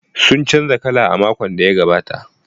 Sun canza kala a makon da ya gabata.